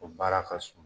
O baara ka suma